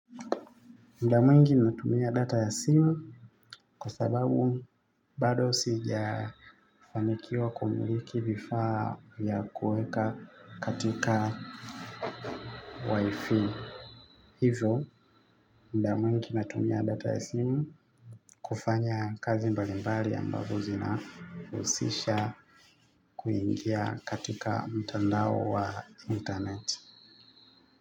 Muda mwingi natumia data ya simu kwa sababu bado sijafanikiwa kumiliki vifaa vya kuweka katika wifi. Hizo, muda mwingi natumia data ya simu kufanya kazi mbalimbali ambazo zina husisha kuingia katika mtandao wa internet.